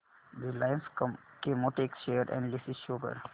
Reliance Chemotex share analysis show कर